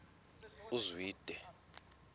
uzwide